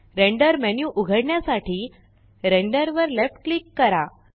render menu उघडण्यासाठी Renderवर left click करा